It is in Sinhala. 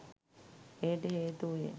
එයට හේතු වූයේ